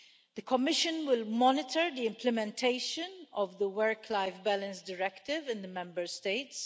The Commission will monitor the implementation of the work life balance Directive in the Member States.